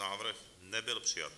Návrh nebyl přijat.